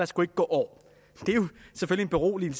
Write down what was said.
skulle gå år det er jo selvfølgelig beroligende